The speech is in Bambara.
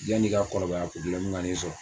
Yani i k'a kɔrɔbaya kana i sɔrɔ